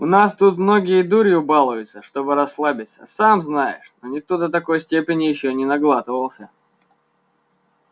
у нас тут многие дурью балуются чтобы расслабиться сам знаешь но никто до такой степени ещё не наглатывался